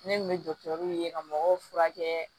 Ne kun bɛ ka mɔgɔw furakɛ